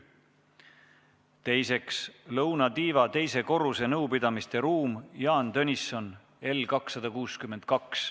Teiseks, lõunatiiva teise korruse nõupidamisruum L262.